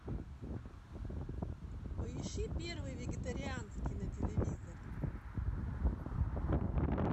поищи первый вегетарианский на телевизоре